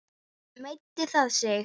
Meiddi það sig?